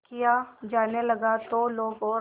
किया जाने लगा तो लोग और